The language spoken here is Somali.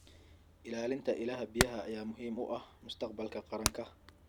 Ilaalinta ilaha biyaha ayaa muhiim u ah mustaqbalka qaranka.